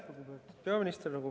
Lugupeetud peaminister!